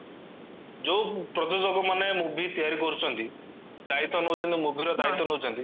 ଯୋଉ ପ୍ରୋଯୋଜକ ମାନେ movie ତିଆରି କରୁଚନ୍ତି ଦାଇତ୍ଵ ନଉଚନ୍ତି movieର ଦାଇତ୍ଵ ନଉଚନ୍ତି